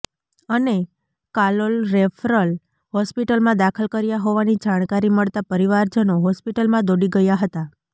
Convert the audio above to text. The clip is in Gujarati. અને કાલોલ રેફરલ હોસ્પિટલમાં દાખલ કર્યા હોવાની જાણકારી મળતા પરિવારજનો હોસ્પિટલમાં દોડી ગયા હતાં